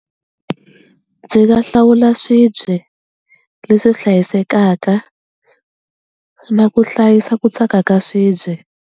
Ndzi nga hlawula swibye leswi hlayisekaka na ku hlayisa ku tsaka ka swibye.